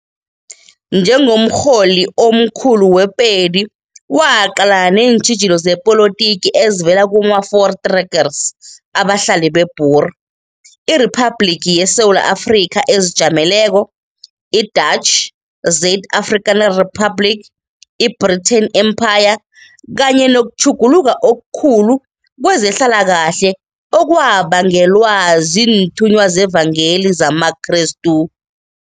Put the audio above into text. Njengomrholi omkhulu we-Pedi waqalana neentjhijilo zepolotiki ezivela kuma-Voortrekkers, abahlali be-Boer, iRiphabhliki yeSewula Afrika ezijameleko, i-Dutch-Zuid-Afrikaansche Republiek, i-Britain Empire, kanye nokutjhuguluka okukhulu kwezenhlalakahle okwabangelwa ziinthunywa zevangeli zamaKrestu.